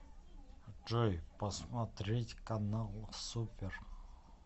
джой посмотреть канал супер